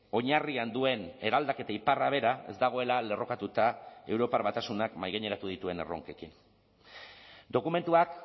oinarrian duen eraldaketa iparra bera ez dagoela lerrokatuta europar batasunak mahaigaineratu dituen erronkekin dokumentuak